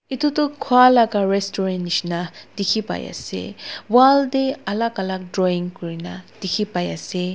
etu tu khua laga restaurant jisna dekhi pai ase wall te alag alag dwing kori na dekhi pai ase.